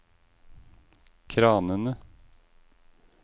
kranene